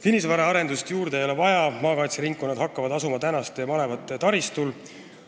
Kinnisvaraarendust juurde ei ole vaja, maakaitseringkonnad hakkavad asuma praeguste malevate taristul.